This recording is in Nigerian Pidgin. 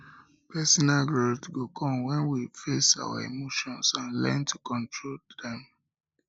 personal growth go go come when we face our emotions and learn to control am